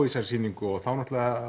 í þessari sýningu og þá